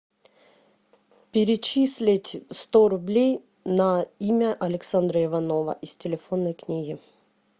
перечислить сто рублей на имя александра иванова из телефонной книги